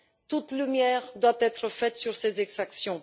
Toute la lumière doit être faite sur ces exactions.